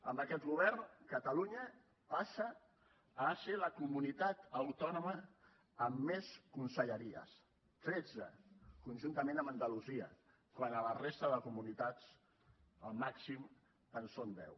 amb aquest govern catalunya passa a ser la comunitat autònoma amb més conselleries tretze conjuntament amb andalusia quan a la resta de comunitats el màxim en són deu